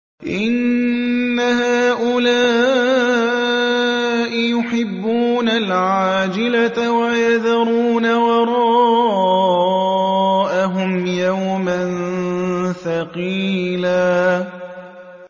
إِنَّ هَٰؤُلَاءِ يُحِبُّونَ الْعَاجِلَةَ وَيَذَرُونَ وَرَاءَهُمْ يَوْمًا ثَقِيلًا